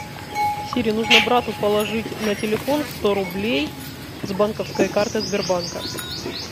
сири нужно брату положить на телефон сто рублей с банковской карты сбербанка